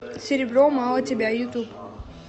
серебро мало тебя ютуб